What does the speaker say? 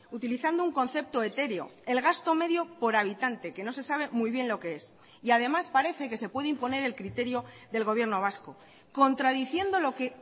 utilizando un concepto etéreo el gasto medio por habitante que no se sabe muy bien lo qué es y además parece que se puede imponer el criterio del gobierno vasco contradiciendo lo que